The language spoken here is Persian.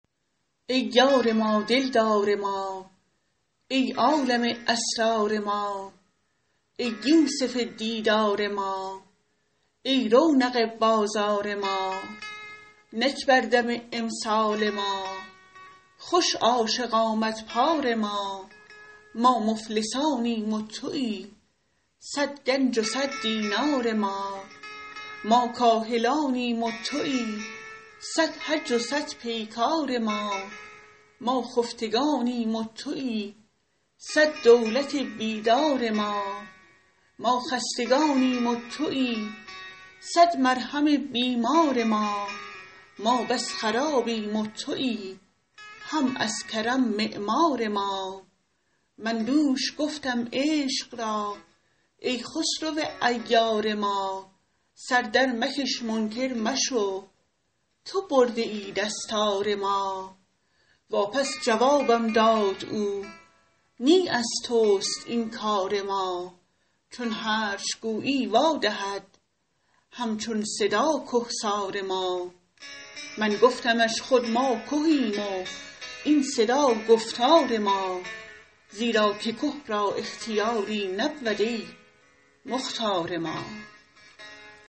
ای یار ما دل دار ما ای عالم اسرار ما ای یوسف دیدار ما ای رونق بازار ما نک بر دم امسال ما خوش عاشق آمد پار ما ما مفلسانیم و تویی صد گنج و صد دینار ما ما کاهلانیم و تویی صد حج و صد پیکار ما ما خفتگانیم و تویی صد دولت بیدار ما ما خستگانیم و تویی صد مرهم بیمار ما ما بس خرابیم و تویی هم از کرم معمار ما من دوش گفتم عشق را ای خسرو عیار ما سر درمکش منکر مشو تو برده ای دستار ما واپس جوابم داد او نی از توست این کار ما چون هرچ گویی وا دهد هم چون صدا که سار ما من گفتمش خود ما کهیم و این صدا گفتار ما زیرا که که را اختیاری نبود ای مختار ما